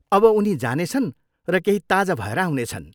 अब उनी जानेछन् र केही ताजा भएर आउनेछन्।